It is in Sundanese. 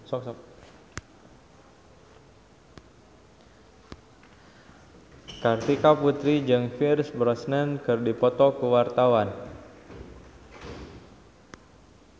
Kartika Putri jeung Pierce Brosnan keur dipoto ku wartawan